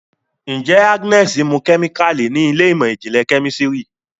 njé Agnes mú kemikali ní Ilé ìmọ̀n-jinlẹ Kẹ́mísìrì